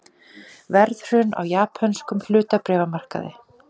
Verðhrun á japönskum hlutabréfamarkaði